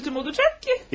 Nə səs-küyüm olacaq ki?